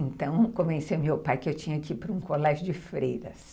Então, eu convenci meu pai que eu tinha que ir para um colégio de freiras.